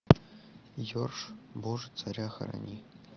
йорш боже царя храни